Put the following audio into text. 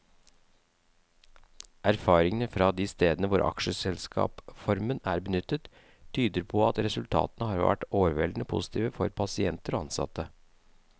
Erfaringene fra de stedene hvor aksjeselskapsformen er benyttet, tyder på at resultatene har vært overveldende positive for pasienter og ansatte.